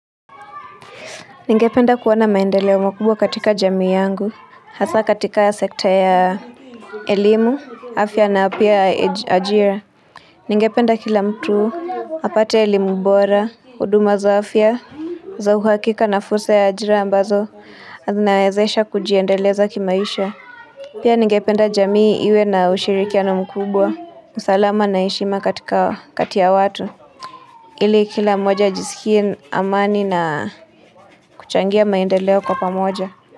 Ningependa kuona maendeleo mkubwa katika jamii yangu, hasa katika ya sekta ya elimu, afya na apia ajira. Ningependa kila mtu, apate elimubora, huduma za afya, za uhakika na fursa ya ajira ambazo, zinnaezesha kujiendeleza kimaisha. Pia ningependa jamii iwe na ushirikiano mkubwa, usalama na heshima katika katia watu. Ili kila moja ajisikie amani na kuchangia maindeleo kwa pamoja.